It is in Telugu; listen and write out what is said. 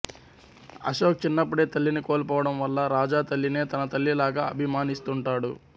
అశోక్ చిన్నప్పుడే తల్లిని కోల్పోవడం వల్ల రాజా తల్లినే తన తల్లిలాగా అభిమానిస్తుంటాడు